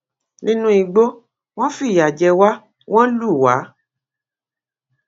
nínú igbó wọn fìyà jẹ wá wọn lù wá